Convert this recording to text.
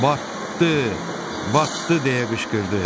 "Batdı! Batdı!" deyə qışqırdı.